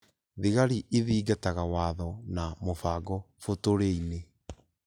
Thigari ithingataga watho na mũbango bũtũri-inĩ